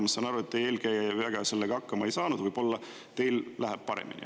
Ma saan aru, et teie eelkäija väga sellega hakkama ei saanud – võib-olla teil läheb paremini.